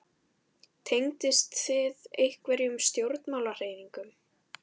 Tengist þið einhverjum stjórnmálahreyfingum?